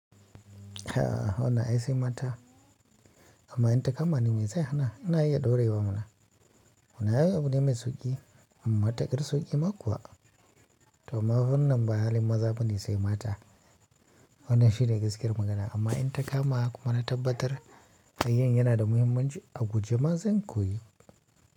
Ah, wannan ai sai mata amma in ta kama ni mai zai hana, ina iya ɗorewa mana. Wannan ai abune mai sauƙi, matuƙar sauƙi ma kuwa. To amma wannan ba halin maza bane sai mata. Wannan shine gaskiyar magana amma in ta kama kuma na tabbatar, kayan yana da muhimmanci a guje ma zan koyi.